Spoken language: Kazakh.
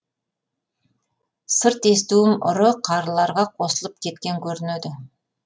сырт естуім ұры қарыларға қосылып кеткен көрінеді